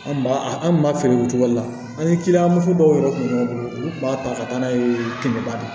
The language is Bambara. An b'a an tun b'a feere o cogo la an ye kiliyan muso dɔw yɛrɛ kun b'an bolo u tun b'a ta ka taa n'a ye kɛmɛba